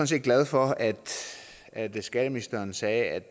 set glad for at at skatteministeren sagde at